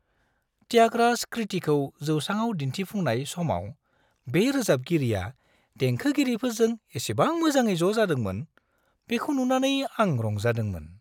थ्यागराज कृतिखौ जौसाङाव दिन्थिफुंनाय समाव बे रोजाबगिरिया देंखोगिरिफोरजों इसेबां मोजाङै ज' जादोंमोन, बेखौ नुनानै आं रंजादोंमोन।